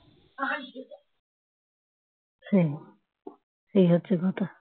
হম এই হচ্ছে কথা